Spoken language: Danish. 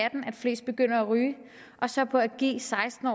flest begynder at ryge og så på at give seksten